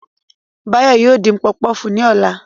Báyọ̀ yóò dín pọfupọ́ọ̀fù ní ọ̀la